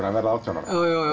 að verða átján ára